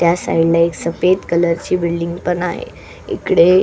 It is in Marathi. त्या साइडला एक सफेद कलरची बिल्डिंग पण आहे इकडे--